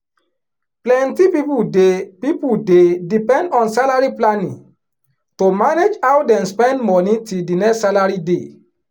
plenty people dey people dey depend on salary planning to manage how dem spend money till the next salary day